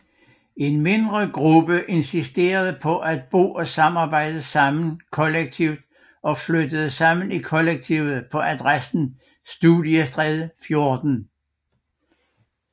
En mindre gruppe Insisterede på at bo og arbejde sammen kollektivt og flyttede sammen i kollektiv på adressen Studiestræde 14